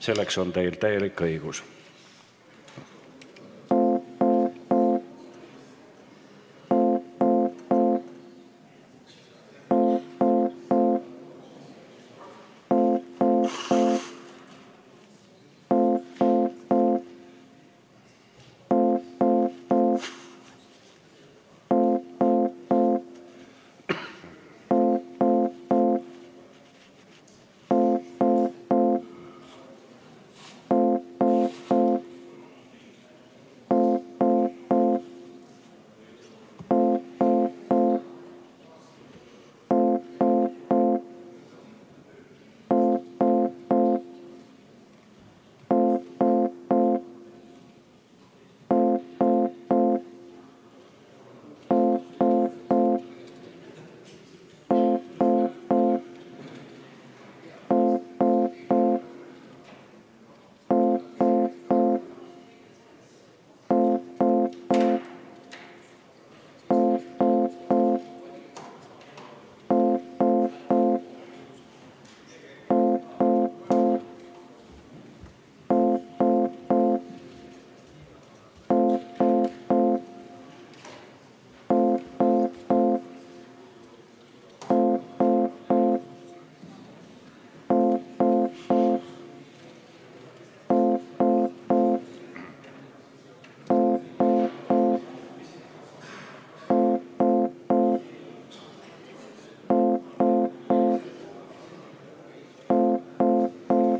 Selleks on teil täielik õigus.